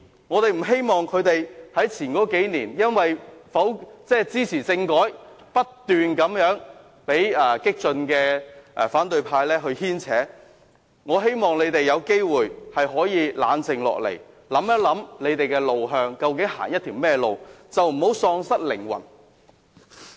我不希望溫和民主派因為曾在數年前支持政改而不斷被激進反對派牽扯，我希望他們有機會冷靜下來，思考他們的路向，究竟要走一條怎樣的路，不要喪失靈魂。